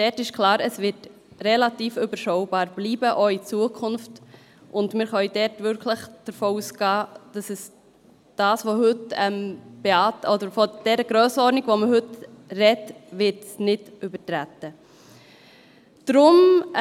Es ist also klar, dass es relativ überschaubar bleiben wird, auch in Zukunft, und wir können wirklich davon ausgehen, dass die Grössenordnung, von der man heute spricht, nicht überschritten wird.